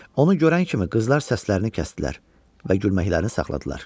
Onu görən kimi qızlar səslərini kəsdilər və gülməklərini saxladılar.